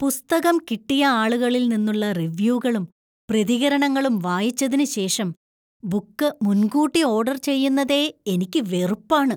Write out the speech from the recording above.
പുസ്തകം കിട്ടിയ ആളുകളിൽ നിന്നുള്ള റിവ്യൂകളും പ്രതികരണങ്ങളും വായിച്ചതിന് ശേഷം ബുക്ക് മുൻകൂട്ടി ഓർഡർ ചെയ്യുന്നതേ എനിക്ക് വെറുപ്പാണ്.